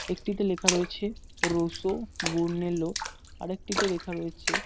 একটিতে লেখা রয়েছে রসো বুরনেলো আর একটিতে লেখা রয়েছে--